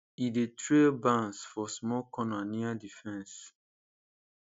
e dey trail bans for small corner near the fence